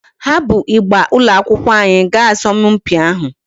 Ha bu ịgba ụlọakwụkwọ anyị gaa asọmpi ahụ.